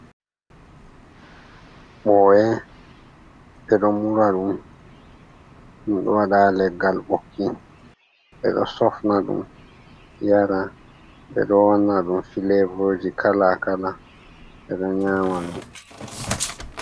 Mɓoye, ɓeɗo mura ɗum, ɗum ɗo waɗa leggal ɓokki, ɓeɗo sofna ɗum yara, ɓeɗo wanna ɗum filevoji kalakala, ɓeɗo nyama ɗum.